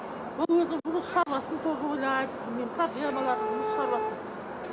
ол өзінің шаруасын тоже ойлайды білмеймін проблемаларын жұмыс шаруасын